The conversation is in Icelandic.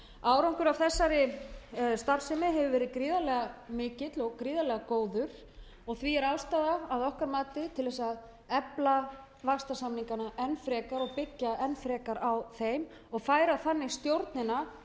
árangur af þessari starfsemi hefur verið gríðarlega mikill og gríðarlega góður og því er aðstaða að okkar mati til að efla vaxtarsamningana enn frekar og byggja enn frekar á þeim og færa þannig stjórnina